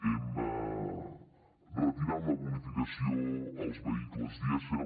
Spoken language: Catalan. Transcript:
hem retirat la bonificació als vehicles dièsel